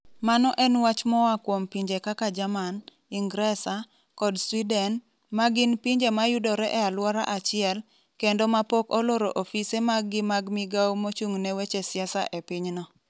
Mano en wach moa kuom pinje kaka Jerman, Ingresa, kod Sweden, ma gin pinje mayudore e alwora achiel, kendo ma pok oloro ofise maggi mag migao mochung' ne weche siasa e pinyno.